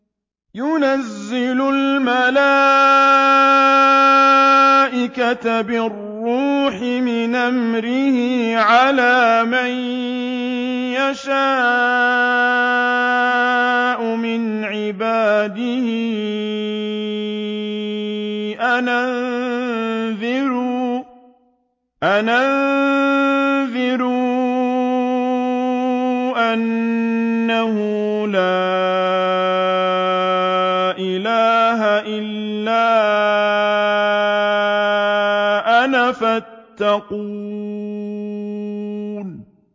يُنَزِّلُ الْمَلَائِكَةَ بِالرُّوحِ مِنْ أَمْرِهِ عَلَىٰ مَن يَشَاءُ مِنْ عِبَادِهِ أَنْ أَنذِرُوا أَنَّهُ لَا إِلَٰهَ إِلَّا أَنَا فَاتَّقُونِ